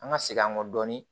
An ka segin an kɔ dɔɔnin